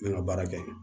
N bɛ n ka baara kɛ